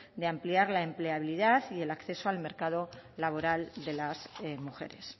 de ampliar la empleabilidad y el acceso al mercado laboral de las mujeres